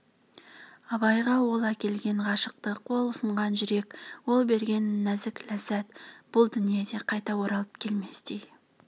абайға ол әкелген ғашықтық ол ұсынған жүрек ол берген нәзік ләззат бұл дүниеде қайта оралып келместей